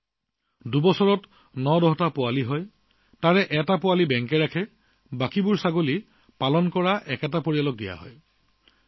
ছাগলীয়ে দুবছৰত ৯ৰ পৰা ১০টা পোৱালি জন্ম দিয়ে ইয়াৰে ৬টা পোৱালি বেংকত ৰখা হয় বাকীবোৰ ছাগলী পালন কৰা পৰিয়ালটোক দিয়া হয়